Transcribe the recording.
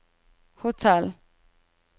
hotell